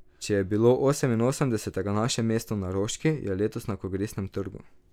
Če je bilo oseminosemdesetega naše mesto na Roški, je letos na Kongresnem trgu.